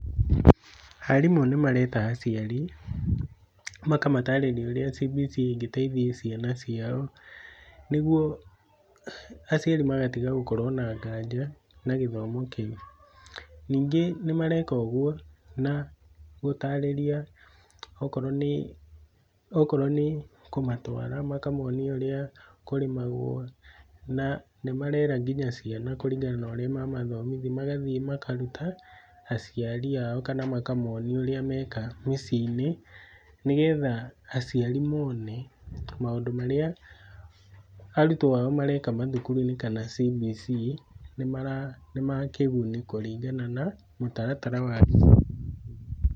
Arimũ nĩ mareta aciari ũrĩa CBC ĩngĩteithagia ciana ciao, nĩgũo aciari magatiga gũkorwo na nganja na gĩthomo kiũ. Ningĩ nĩ mareka ũgũo na gũtarĩria , okorwo nĩ , okorwo nĩ kũmatwara makamoonia ũrĩa kũrĩmagwo na nĩ marera kũringana na ũrĩa mamathomithi magathiĩ makaruta aciari ao kana makamoonia ũrĩa mekaga mĩciĩ-inĩ, nĩgetha aciari mone maũndũ marĩa , arutwo ao mareka mathũkũru-inĩ kana CBC nĩ mara nĩma kĩguni kũringana na mũtaratara wa CBC.